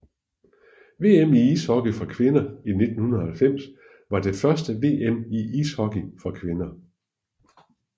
VM i ishockey for kvinder 1990 var det første VM i ishockey for kvinder